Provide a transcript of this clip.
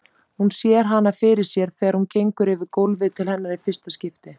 Hún sér hana fyrir sér þegar hún gengur yfir gólfið til hennar í fyrsta skipti.